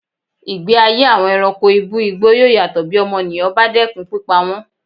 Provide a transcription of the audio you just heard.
Ìgbé ayé àwọn ẹranko ibú igbó yóò yàtọ̀ bí ọmọnìyàn bá dẹ́kun pípa wọn.